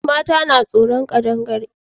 Mata na tsoron ƙadangare